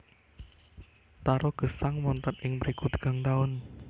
Taro gesang wonten ing mriku tigang taun